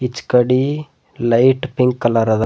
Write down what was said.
ಈಚಕಡಿ light pink colour ಅದ.